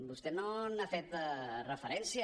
vostè no hi ha fet referència